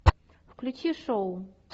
включи шоу